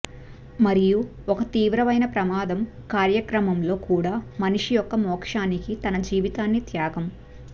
మరియు ఒక తీవ్రమైన ప్రమాదం కార్యక్రమంలో కూడా మనిషి యొక్క మోక్షానికి తన జీవితాన్ని త్యాగం